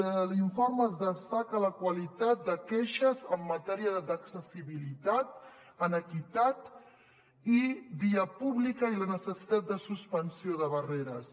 de l’informe es destaca la qualitat de queixes en matèria d’accessibilitat en equitat i via pública i la necessitat de suspensió de barreres